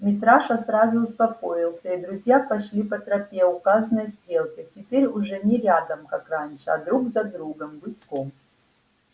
митраша сразу успокоился и друзья пошли по тропе указанной стрелкой теперь уже не рядом как раньше а друг за другом гуськом